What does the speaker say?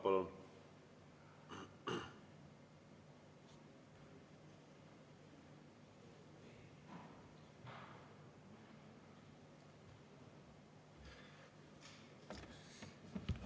Palun!